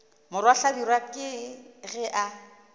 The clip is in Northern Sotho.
morwa hlabirwa ke ge a